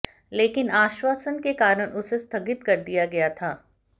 लेकिन आश्वासन के कारण उसे स्थगित कर दिया गया था